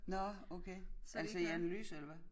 Nå okay altså i analyse eller hvad?